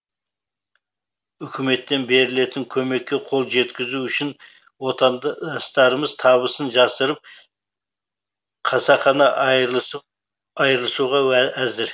үкіметтен берілетін көмекке қол жеткізу үшін отанды ыстарымыз табысын жасырып қасақана айырылысуға уә әзір